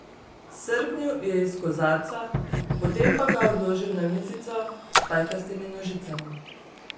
Srknil je iz kozarca, potem pa ga odložil na mizico s pajkastimi nožicami.